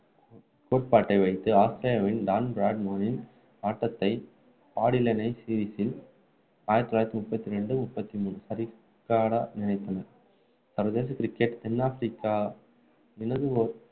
கோட்பாட்டை வைத்து ஆஸ்திரேலியாவின் ஆட்டத்தை பிரித்து ஆயிரத்து தொள்ளாயிரத்து முப்பத்து இரண்டு முப்பத்து மூன்று ஆஸ்திரேலியாவின் டான் பிராட்மேனின் ஆட்டத்தை பாடிலைன்சீரிஸில் ஆயிரத்து தொள்ளாயிரத்து முப்பத்து இரண்டு, முப்பத்து மூன்றுசரிகாட நினைத்தனர். சர்வதேச cricket தென்னாப்பிரிக்க